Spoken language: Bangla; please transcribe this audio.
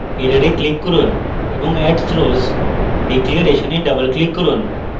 error click করুন এবং add throws declaration এ double click করুন